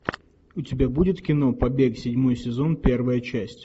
у тебя будет кино побег седьмой сезон первая часть